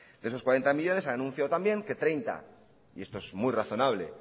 de esos cuarenta millónes han anunciado también que treinta y esto es muy razonable